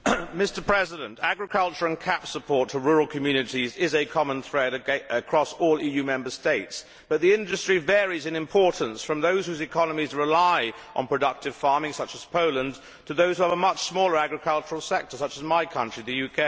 Mr President, agriculture and CAP support to rural communities is a common thread across all EU Member States, but the industry varies in importance, from those whose economies rely on productive farming, such as Poland, to those with a much smaller agricultural sector such as my country, the UK.